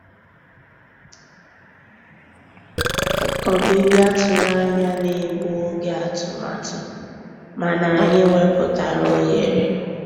Ọ́bị́bịá tụ̀rụ̀ ànyá ná-ègbu ògé àtụ̀màtụ́, mànà ànyị́ wepụ́tárá òghéré.